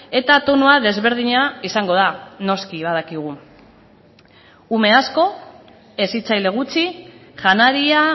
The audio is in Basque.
eta tonua desberdina izango da noski badakigu ume asko hezitzaile gutxi janaria